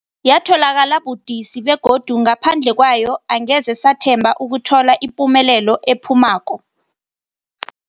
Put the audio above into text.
Yatholakala budisi, begodu ngaphandle kwayo angeze sathemba ukuthola ipumelelo ephuphumako.